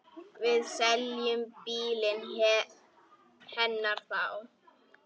Við seljum bílinn hennar þá.